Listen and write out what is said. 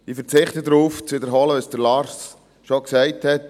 Ich verzichte darauf, zu sagen, was Lars Guggisberg schon gesagt hat.